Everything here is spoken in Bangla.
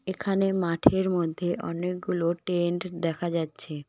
এখানে মাঠের মধ্যে অনেকগুলো টেন্ট দেখা যাচ্ছে।